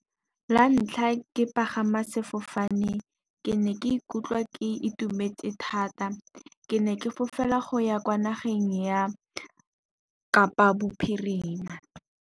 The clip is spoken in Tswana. La ntlha ke pagama sefofane, ke ne ke ikutlwa ke itumetse thata. Ke ne ke fofela go ya kwa nageng ya Kapa bophirima.